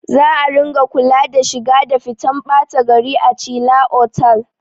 Za a ringa kula da shiga da fitan ɓata gari a chila otal